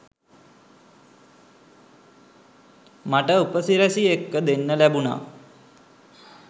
මට උපසිරැසි එක්ක දෙන්න ලැබුනා.